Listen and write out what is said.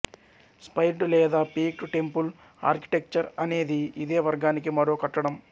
స్పైర్డ్ లేదా peaked temple architecture అనేది ఇదే వర్గానికి మరో కట్టడం